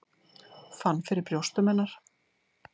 Fann fyrir brjóstum hennar.